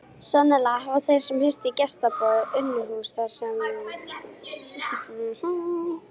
Sennilega hafa þeir hist í gestaboði Unuhúss þar sem aðkomufólk átti vísa gistingu.